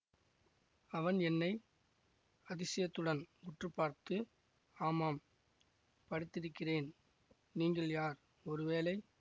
அவன் என்னை அதிசயத்துடன் உற்று பார்த்து ஆமாம் படித்திருக்கிறேன் நீங்கள் யார் ஒரு வேளை